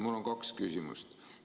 Mul on kaks küsimust.